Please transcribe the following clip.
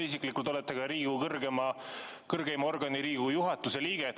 Te isiklikult olete ka Riigikogu kõrgeima organi, Riigikogu juhatuse liige.